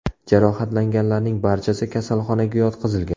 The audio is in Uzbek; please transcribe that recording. Jarohatlanganlarning barchasi kasalxonaga yotqizilgan.